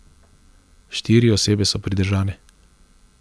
Štiri osebe so pridržane.